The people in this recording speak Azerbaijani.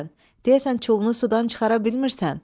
Deyəsən çulunu sudan çıxara bilmirsən?